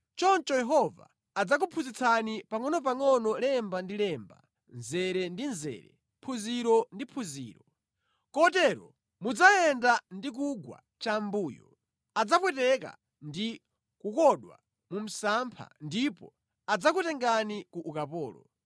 Choncho Yehova adzakuphunzitsani pangʼonopangʼono lemba ndi lemba, mzere ndi mzere, phunziro ndi phunziro. Kotero mudzayenda ndi kugwa chambuyo, adzapweteka ndi kukodwa mu msampha ndipo adzakutengani ku ukapolo.